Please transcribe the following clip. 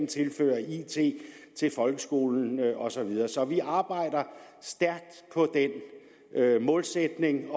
tilføre it til folkeskolen og så videre så vi arbejder stærkt på den målsætning